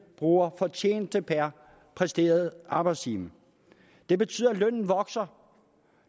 bruger fortjeneste per præsteret arbejdstime det betyder at lønnen vokser